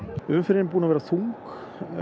umferðin er búin að vera þung